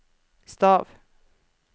stav